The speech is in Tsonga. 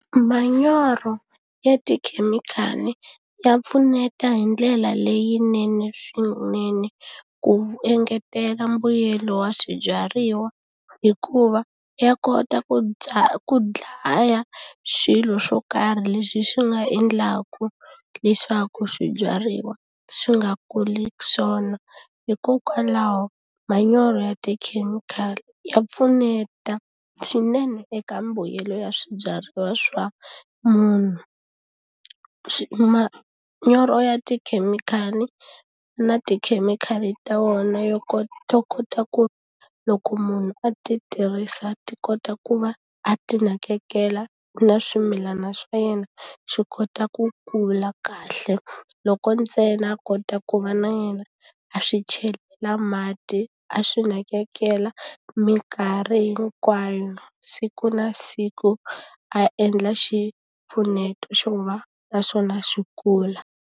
Manyoro ya tikhemikhali ya pfuneta hi ndlela leyinene swinene, ku engetela mbuyelo wa swibyariwa. Hikuva ya kota ku ku dlaya swilo swo karhi leswi swi nga endlaka leswaku swibyariwa swi nga kuli swona. Hikokwalaho manyoro ya tikhemikhali ya pfuneta swinene eka mbuyelo ya swibyariwa swa munhu. manyoro ya tikhemikhali na tikhemikhali ta wona yo to kota ku loko munhu a ti tirhisa ti kota ku va a ti nakekela na swimilana swa yena, swi kota ku kula kahle. Loko ntsena a kota ku va na yena a swi chelela mati, a swi nakekela minkarhi hinkwayo, siku na siku a endla xipfuneto xo va na swona swi kula.